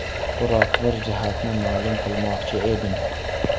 Biroq bir jihatini ma’lum qilmoqchi edim.